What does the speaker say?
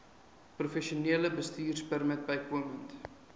professionele bestuurpermit bykomend